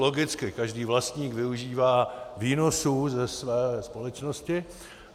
Logicky, každý vlastník využívá výnosů ze své společnosti.